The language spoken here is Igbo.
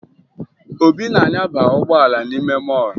Obi na-anyaba ụgbọala n'ime mọọlụ